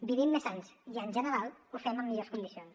vivim més anys i en general ho fem en millors condicions